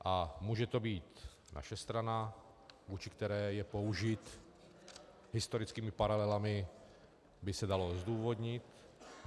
A může to být naše strana, vůči které je použit, historickými paralelami by se dalo zdůvodnit.